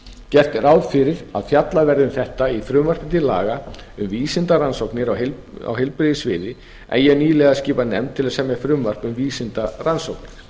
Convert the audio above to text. gert er ráð fyrir að fjallað verði um þetta í frumvarpi til laga um vísindarannsóknir á heilbrigðissviði hef ég nýlega skipað nefnd til að semja frumvarp um vísindarannsóknir